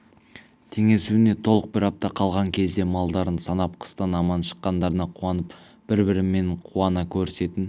теңесуіне толық бір апта қалған кезде малдарын санап қыстан аман шыққандарына қуанып бір-бірімен қуана көрісетін